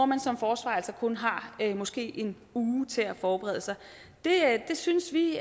man som forsvarer kun har måske en uge til at forberede sig det synes vi